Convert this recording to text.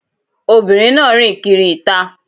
Obìnrin náà rìn kiri ìta.